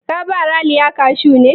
Ka ba Raliya kashu ne?